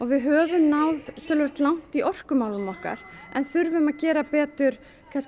við höfum náð töluvert langt í orkumálunum okkar en þurfum að gera betur